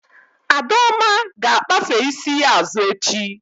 Adaoma ga-akpafe isi ya azụ echi